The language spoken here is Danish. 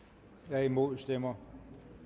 er imod stemmer